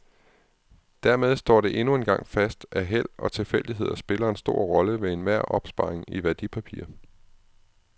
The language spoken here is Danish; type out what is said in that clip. Dermed står det endnu engang fast, at held og tilfældigheder spiller en stor rolle ved enhver opsparing i værdipapirer.